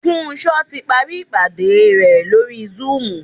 Funsho ti parí ìpàdé re lórí zoom.